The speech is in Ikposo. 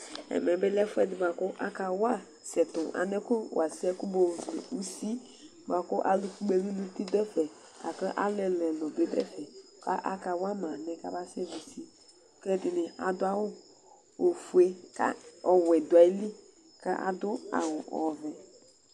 Ɛmɛlɛ bi lɛ ɛfʋɛ bʋakʋ aka wa ɛsɛ tʋnu alɛ kʋ mayɔ vli ʋsi bʋakʋ alu kpɔ ɛlu nʋ ʋti du lakʋ alu ɛlu ɛlu du ɛfɛ kʋ aka wama alɛ bʋakʋ amasɛ vli ʋsi kʋ ɛdiní adu awu ɔfʋe kʋ ɔwɛ du ayìlí kʋ adu awu ɔvɛ